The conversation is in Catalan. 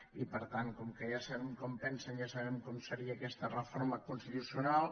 i per tant com que ja sabem com pensen ja sabem com seria aquesta reforma constitucional